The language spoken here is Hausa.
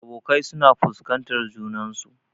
Abokai suna fuskantar junansu.